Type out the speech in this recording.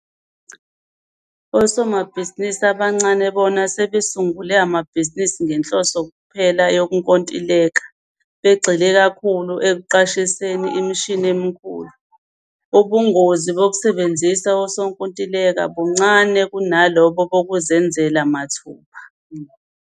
Osomabhizinisi abancane bona sebesungule amabhizinisi ngenhloso kuphela yokunkontileka, begxile kakhulu ekuqashiseni imishini emikhulu. Ubungozi bokusebenzisa usonkontileka buncane kunalobo bokuzenzela mathupha.